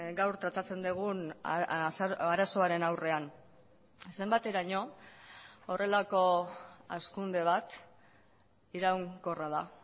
gaur tratatzen dugun arazoaren aurrean zenbateraino horrelako hazkunde bat iraunkorra da